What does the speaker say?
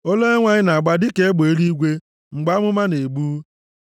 Olu Onyenwe anyị na-agba dịka egbe eluigwe mgbe amụma na-egbu.